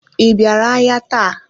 I bịara ahịa taa?